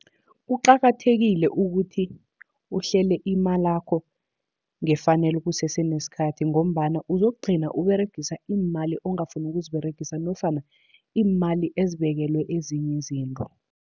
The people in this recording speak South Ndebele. Kuqakathekile ukuthi uhlele imalakho ngefanelo kusese nesikhathi, ngombana uzokugcina uberegisa iimali ongafuni ukuziberegisa nofana iimali ezibekelwe ezinye izinto.